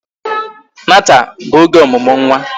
Nata bụ oge ọmụmụ nwa